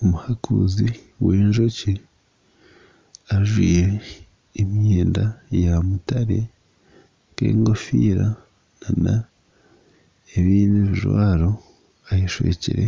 Omuhakuuzi w'enjoki ajwaire emyenda ya mutare nk'engofiira nana ebindi ebijwaro ayeshwekire